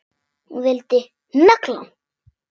Hún vildi negla hann!